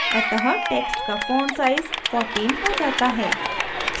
अतः text का font size 14 हो जाता है